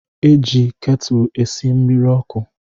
E ji ketulu esi mmiri ọkụ